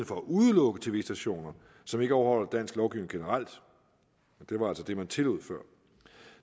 for at udelukke tv stationer som ikke overholder dansk lovgivning generelt og det var altså det man tillod før